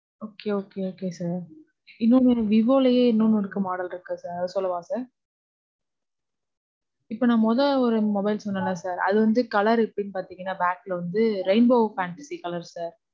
Okay, okay, okay sir. இன்னொன்னு, விவோலையே இன்னொன்னுக்கு model இருக்கு sir. சொல்லவா sir? இப்போ நான் மொத ஒரு mobile சொன்னேன்ல sir, அது வந்து colour வந்து எப்படின்னு பாத்தீங்கனா, back ல வந்து rainbow fantasy colour sir